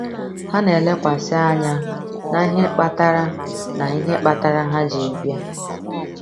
Ha na-elekwasị anya na ihe kpatara na ihe kpatara ha ji bịa.